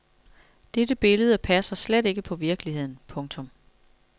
Dette billede passer slet ikke på virkeligheden. punktum